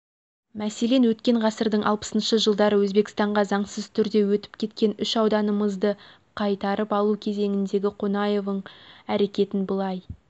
мәселен өткен ғасырдың алпысыншы жылдары өзбекстанға заңсыз түрде өтіп кеткен үш ауданымызды қайтарып алу кезіндегі қонаевың әрекетін былай